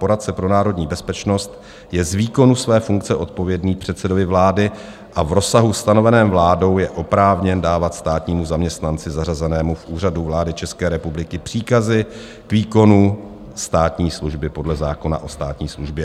"Poradce pro národní bezpečnost je z výkonu své funkce odpovědný předsedovi vlády a v rozsahu stanoveném vládou je oprávněn dávat státnímu zaměstnanci zařazenému v Úřadu vlády České republiky příkazy k výkonu státní služby podle zákona o státní službě."